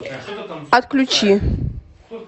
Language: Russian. отключи